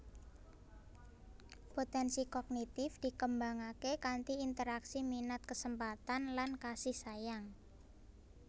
Potensi Kognitif dikembangake kanthi interaksi minat kesempatan lan kasih sayang